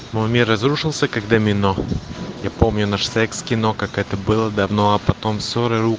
мой мир разрушился как домино я помню наш секс кино как это было давно а потом ссоры ру